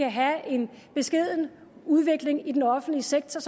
at have en beskeden udvikling i den offentlige sektor